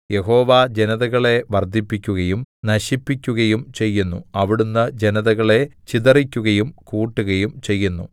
യഹോവ ജനതകളെ വർദ്ധിപ്പിക്കുകയും നശിപ്പിക്കുകയും ചെയ്യുന്നു അവിടുന്ന് ജനതകളെ ചിതറിക്കുകയും കൂട്ടുകയും ചെയ്യുന്നു